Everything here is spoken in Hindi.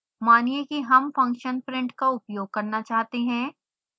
मानिए कि हम फंक्शन print का उपयोग करना चाहते हैं